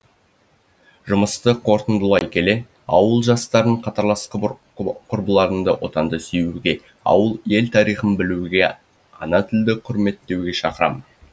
жұмысты қорытындылай келе ауыл жастарын қатарлас құрбыларымды отанды сүюге ауыл ел тарихын білуге ана тілді құрметтеуге шақырам